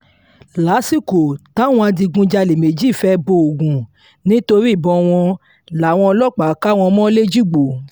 lásìkò táwọn adigunjalè méjì fẹ́ẹ́ bo ògún nítorí ìbọn wọn làwọn ọlọ́pàá ká wọn mọ́ lẹ́jìgbò